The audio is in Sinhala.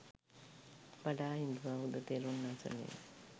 වඩාහිදුවා ඔහුද තෙරුන් අසලින්